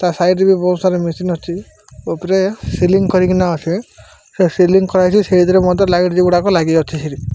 ତା ସାଇଡ ରେ ବୋହୁତ୍ ସାରା ମେସିନ୍ ଅଛି ଓପରେ ସିଲିଂ କରିକିନା ଅଛି ସେ ସିଲିଂ କରାହେଇଚି ସେଇଥିରେ ମଧ୍ୟ ଲାଇଟ୍ ଗୁଡିକ ଲଗାଯାଉଛି ସିଠି ।